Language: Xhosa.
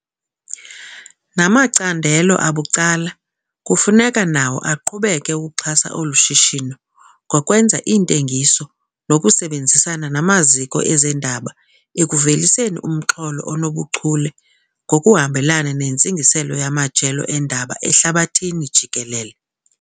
Namacandelo abucala kufuneka nawo aqhubeke ukuxhasa olu shishino ngokwenza iintengiso nokusebenzisana namaziko ezendaba ekuveliseni umxholo onobuchule ngokuhambelana nentsingiselo yamajelo eendaba ehlabathini jikelele.